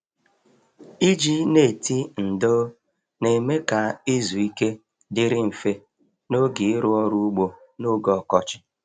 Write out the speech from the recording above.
Iji neti ndò na-eme ka izu ike dịrị mfe n'oge ịrụ ọrụ ugbo n'oge ọkọchị.